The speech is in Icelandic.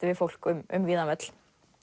við fólk um um víðan völl